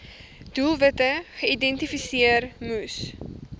doelwitte geïdentifiseer moes